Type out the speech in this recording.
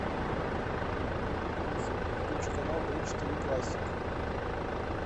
алиса включи канал бридж тиви классик